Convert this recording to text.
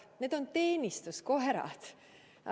Need on teenistuskoerad.